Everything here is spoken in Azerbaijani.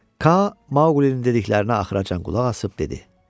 Ka Maqlinin dediklərini axıracan qulaq asıb dedi: